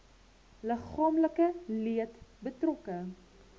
liggaamlike leed betrokke